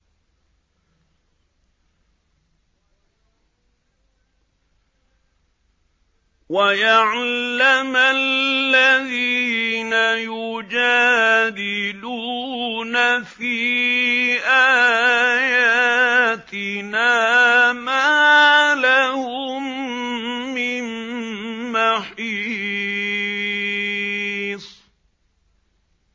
وَيَعْلَمَ الَّذِينَ يُجَادِلُونَ فِي آيَاتِنَا مَا لَهُم مِّن مَّحِيصٍ